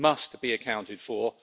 those must be accounted for.